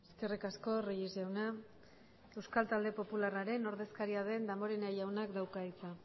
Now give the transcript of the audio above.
eskerrik asko reyes jauna euskal talde popularraren ordezkaria den damborenea jaunak dauka hitza